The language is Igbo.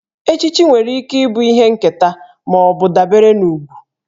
Echichi nwere ike ịbụ ihe nketa ma ọ bụ dabere na ugwù